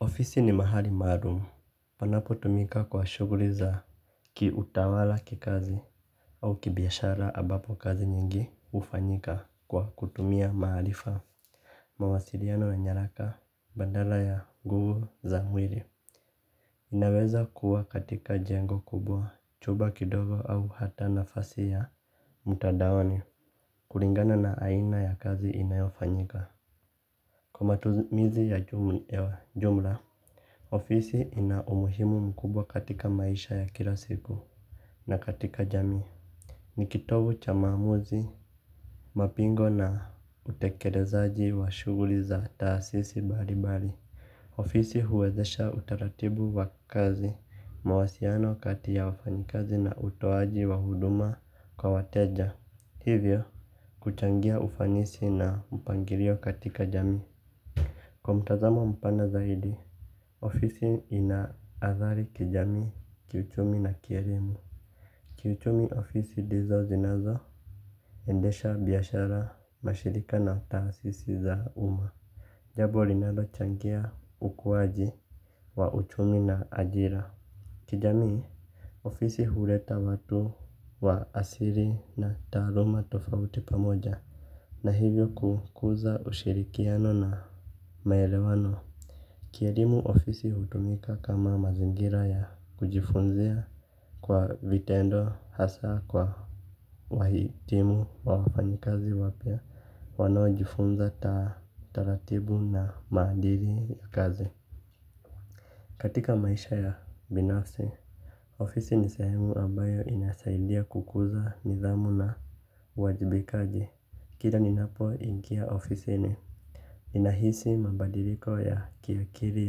Ofisi ni mahali maarum, panapotumika kwa shughuli za kiutawala, kikazi, au kibiashara ambapo kazi nyingi hufanyika kwa kutumia maarifa, mawasiliano na nyaraka, badala ya nguvu za mwili, inaweza kuwa katika jengo kubwa, chumba kidogo au hata nafasi ya mtandaoni, kulingana na aina ya kazi inayofanyika, kwa matumizi ya jumla, ofisi ina umuhimu mkubwa katika maisha ya kila siku na katika jamii. Ni kitovu cha maamuzi, mapingo na utekelezaji wa shughuli za taasisi mbali mbali. Ofisi huwezesha utaratibu wa kazi, mawasiano kati ya wafanyikazi na utoaji wa huduma kwa wateja. Hivyo, kuchangia ufanisi na mpangilio katika jamii. Kwa mtazamo mpana zaidi, ofisi ina adhari kijamii, kiuchumi na kielimu. Kiuchumi ofisi ndizo zinazo endesha biashara, mashirika na taasisi za umma. Jambo linalochangia ukuwaji wa uchumi na ajira. Kijamii, ofisi huleta watu wa asili na taaluma tofauti pamoja. Na hivyo kukuza ushirikiano na maelewano. Kieliimu ofisi hutumika kama mazingira ya kujifunzia kwa vitendo hasa kwa wahitimu wa wafanyikazi wapya wanaojifunza taratibu na maadili ya kazi. Katika maisha ya binafsi, ofisi ni sehemu ambayo inasaidia kukuza nidhamu na uajibikaji. Kila ninapoingia ofisini. Ninahisi mabadiliko ya kiakiri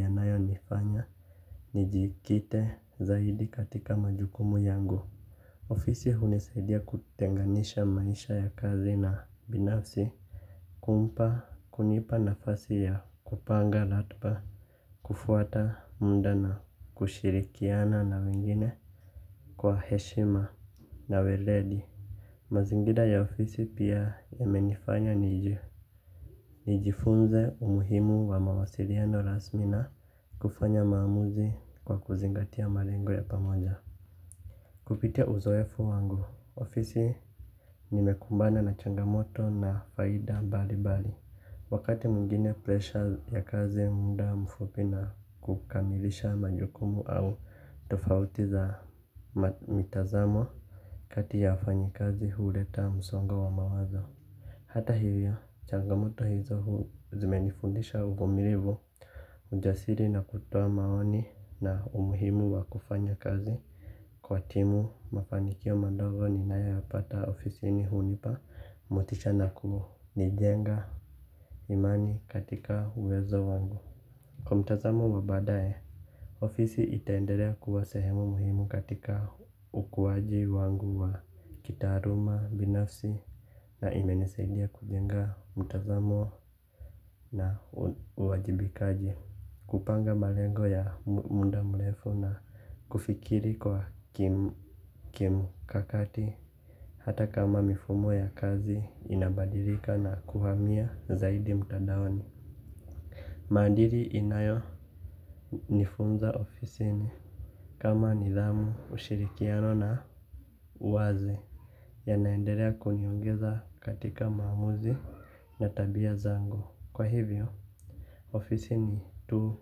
yanayonifanya. Nijikite zaidi katika majukumu yangu. Ofisi hunisaidia kutenganisha maisha ya kazi na binafsi. Kumpa, kunipa nafasi ya kupanga ratba. Kufuata mda na kushirikiana na wengine kwa heshima na weledi. Mazingira ya ofisi pia yamenifanya niji, nijifunze umuhimu wa mawasiliano rasmi na kufanya maamuzi kwa kuzingatia malengo ya pamoja. Kupitia uzoefu wangu, ofisi nimekumbana na changamoto na faida mbali mbali. Wakati mwingine pressure ya kazi, mda mfupi na kukamilisha majukumu au tofautiza mitazamo kati ya wafanyikazi huleta msongo wa mawazo. Hata hivyo, changamoto hizo hu zimenifundisha uvumilivu. Ujasiri na kutoa maoni na umuhimu wa kufanya kazi kwa timu, mafanikio madogo ninayoyapata ofisini hunipa motisha na kunijenga imani katika uwezo wangu. Kwa mtazamo wa baadaye, ofisi itaendelea kuwa sehemu muhimu katika ukuwaji wangu wa kitaaruma binafsi. Na imenisaidia kujenga mtazamo na uwajibikaji. Kupanga malengo ya mda mrefu na kufikiri kwa kimkakati. Hata kama mifumo ya kazi inabadilika na kuhamia zaidi mtandaoni. Maadili inayonifunza ofisini kama nidhamu, ushirikiano na uwazi yanaendelea kuniongeza katika maamuzi na tabia zangu. Kwa hivyo, ofisi ni tu,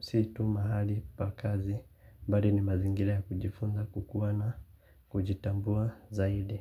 si tu mahali pa kazi. Bali ni mazingira ya kujifunza kukuwa na kujitambua zaidi.